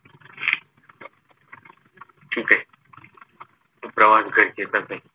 तो प्रवास गरजेचाच आहे